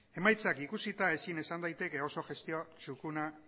emaitzak ikusita ezin esan daiteke oso gestio txukuna